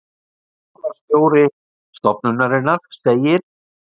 Rannsóknastjóri stofnunarinnar segir: